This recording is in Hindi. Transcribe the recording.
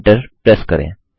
एन्टर प्रेस करें